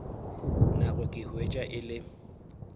nako ka hwetša e le